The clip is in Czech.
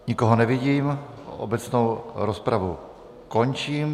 Nikoho nevidím, obecnou rozpravu končím.